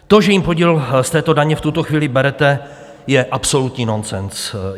To, že jim podíl z této daně v tuto chvíli berete, je absolutní nonsens.